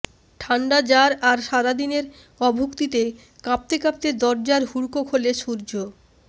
ঠান্ডা জার আর সারা দিনের অভুক্তিতে কাঁপতে কাঁপতে দরজার হুড়কো খোলে সূর্য